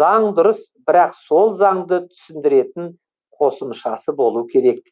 заң дұрыс бірақ сол заңды түсіндіретін қосымшасы болу керек